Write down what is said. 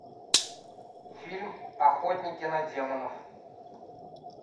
фильм охотники на демонов